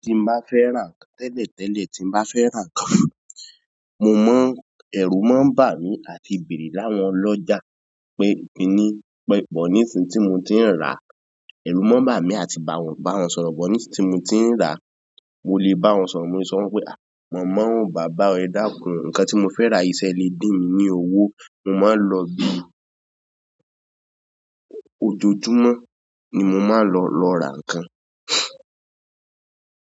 Tí n bá fẹ́ rà tẹ́lẹ̀ tẹ́lẹ̀ tí n bá fẹ́ rà ń kan, mo mọ̀ ẹ̀rù máa ń bà mí àti bèrè láwọn ọlọ́jà pé mi ní pẹpẹ nísìń tí mo ti n rà. Ẹ̀rù máa ń bà mí àti bá wọn sọ̀rọ̀ bọ̀ nígbà tí mo ti ń rà. Mo lè bá wọn sọ̀rọ̀, mo lè sọ fún wọn pé "àh mọ̀ọ́ bàbá ẹ dákún, nǹkan tí mo fẹ́ rà yí ṣẹ́ ẹ lè din mi ní owó, mo máa lọ bí i ójojúmọ́ ni mo máa lọ, lọ rà ń kan."